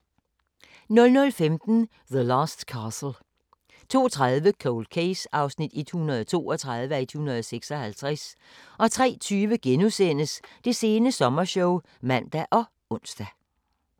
00:15: The Last Castle 02:30: Cold Case (132:156) 03:20: Det sene sommershow *(man og ons)